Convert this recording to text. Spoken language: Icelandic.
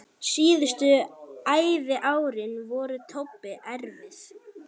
Síðustu æviárin voru Tobbu erfið.